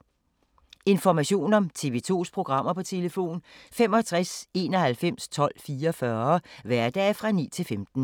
Information om TV 2's programmer: 65 91 12 44, hverdage 9-15.